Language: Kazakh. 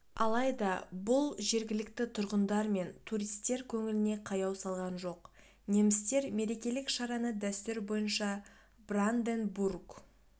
алайда бұл жергілікті тұрғындар мен туристер көңіліне қаяу салған жоқ немістер мерекелік шараны дәстүр бойынша бранденбург